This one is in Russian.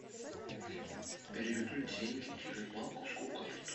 переведу деньги через банковскую карту